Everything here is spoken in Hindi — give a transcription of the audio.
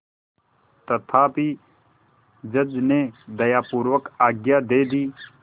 तथापि जज ने दयापूर्वक आज्ञा दे दी